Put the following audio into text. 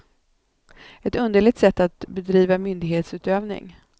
Ett underligt sätt att bedriva myndighetsutövning.